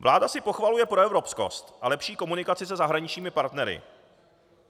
Vláda si pochvaluje proevropskost a lepší komunikaci se zahraničními partnery.